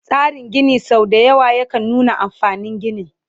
Tsarin Gini sau dayawa yakan nuna amfanin ginin